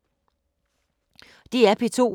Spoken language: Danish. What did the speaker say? DR P2